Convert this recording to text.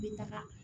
N bɛ taga